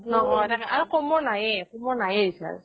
আৰু কমৰ নাইয়ে কমৰ নাইয়ে recharge